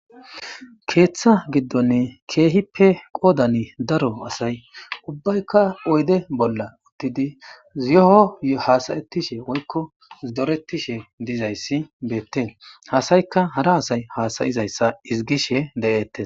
keeththa giddonni keehippe qoodani daro asay ubbaykka oyde bolla uttidi yoho hasayettishe woykko zoretishe dizayssi beettees hasaykka hara asay hasayizayssa ezigishe de7ettees